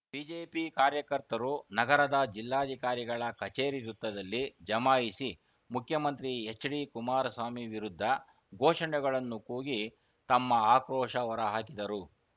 BJP ಕಾರ್ಯಕರ್ತರು ನಗರದ ಜಿಲ್ಲಾಧಿಕಾರಿಗಳ ಕಚೇರಿ ವೃತ್ತದಲ್ಲಿ ಜಮಾಯಿಸಿ ಮುಖ್ಯಮಂತ್ರಿ ಎಚ್‌ಡಿಕುಮಾರಸ್ವಾಮಿ ವಿರುದ್ಧ ಘೋಷಣೆಗಳನ್ನು ಕೂಗಿ ತಮ್ಮ ಆಕ್ರೋಶ ಹೊರಹಾಕಿದರು